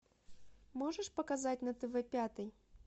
можешь показать на тв пятый